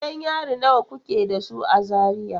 Gidan yari nawa kuke da su a Zaria?